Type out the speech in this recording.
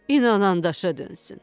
İnandım daşa dönsün.